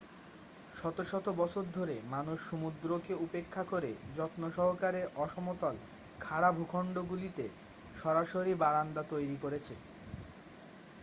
শত শত বছর ধরে মানুষ সমুদ্রকে উপেক্ষা করে যত্নসহকারে অসমতল খাড়া ভূখণ্ডগুলিতে সরাসরি বারান্দা তৈরি করেছে